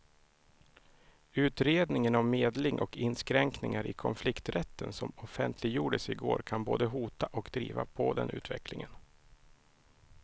Utredningen om medling och inskränkningar i konflikträtten som offentliggjordes i går kan både hota och driva på den utvecklingen.